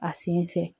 A sen fɛ